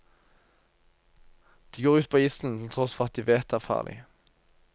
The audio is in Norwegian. De går ut på isen, til tross for at de vet det er farlig.